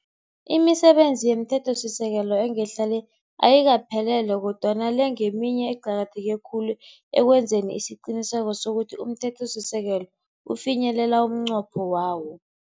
Imisebenzi yomthethosisekelo engehla le, ayikaphelele kodwana le ngeminye eqakatheke khulu ekwenzeni isiqiniseko sokuthi umthethosisekelo ufinyelela umnqopho wawo.